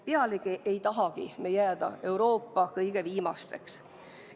Pealegi ei tahagi me jääda Euroopa kõige viimasteks.